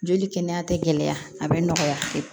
Joli kɛnɛya tɛ gɛlɛya a bɛ nɔgɔya